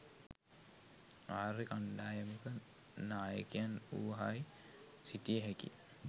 ආර්ය කණ්ඩායමක නායකයන් වූහයි සිතිය හැකිය.